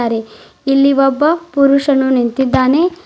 ದೆ ಇಲ್ಲಿ ಒಬ್ಬ ಪುರುಷನು ನಿಂತಿದ್ದಾನೆ.